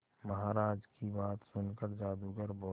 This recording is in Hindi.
महाराज की बात सुनकर जादूगर बोला